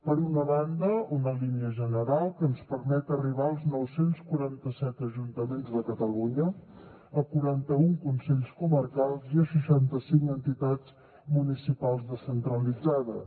per una banda una línia general que ens permet arribar als nou cents i quaranta set ajuntaments de catalunya a quaranta un consells comarcals i a seixanta cinc entitats municipals descentralitzades